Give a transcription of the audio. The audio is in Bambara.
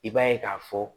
I b'a ye k'a fɔ